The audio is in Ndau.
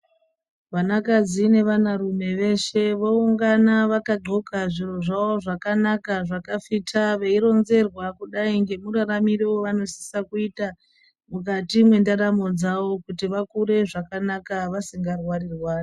Vanakadzi nevanarume veshe voungana vakadzxoka zviro zvawo zvakanaka zvakafita veironzerwa kudai ngemuraramiro wavanosisa kuita mukati mwendaramo dzawo kuti vakure zvakanaka vasingarwari rwari.